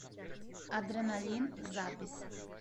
адреналин запись